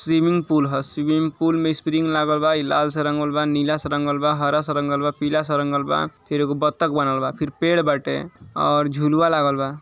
Swimming pool ह swimming pool में spring लागल बा लाल से रंगल बा नीला से रंगल बा हरा से रंगल बा पीला से रंगल बा फिर ए गो बतक बनल बा फिर पेड़ बाटे और झुलवा लागल बा।